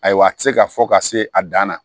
Ayiwa a tɛ se ka fɔ ka se a dan na